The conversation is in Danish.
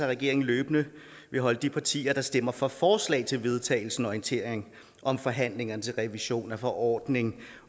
regeringen løbende vil holde de partier der stemmer for forslaget til vedtagelse orienteret om forhandlingerne til revision af forordning